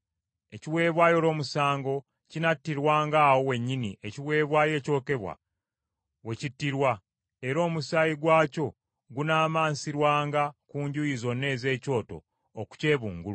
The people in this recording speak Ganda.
Ekiweebwayo olw’omusango kinattirwanga awo wennyini ekiweebwayo ekyokebwa we kittirwa, era omusaayi gwakyo gunaamansirwanga ku njuyi zonna ez’ekyoto okukyebungulula.